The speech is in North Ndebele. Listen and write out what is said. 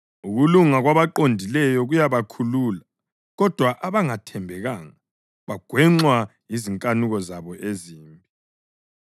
Ukulunga kwabaqondileyo kuyabakhulula, kodwa abangathembekanga bagwenxwa yizinkanuko zabo ezimbi.